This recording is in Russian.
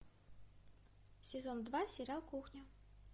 сезон два сериал кухня